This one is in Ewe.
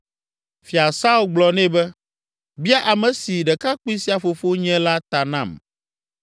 Fia Saul gblɔ nɛ be, “Bia ame si ɖekakpui sia fofo nye la ta nam.”